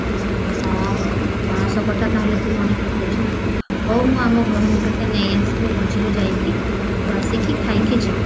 ହ ହଉ ପଣସ କଠା ତାହେଲେ ତୁ ମନେ ପକୋଉଛୁ ନା ହଉ ମୁଁ ଆମ ଘରକୁ ତତେ ନେଇ ଆସିବି ଆଉ ମଝିରେ ଯାଇକି ତୁ ଆସିକି ଖାଇକି ଯିବୁ